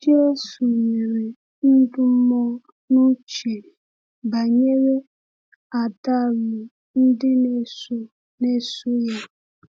Jésù were ndúmó n’uche banyere àdàlù ndị na-eso na-eso ya.